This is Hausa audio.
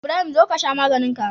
Ibrahim zo kasha maganinka